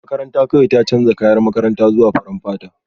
Makaranta kawai ta canza kayan makaranta zuwa farar fata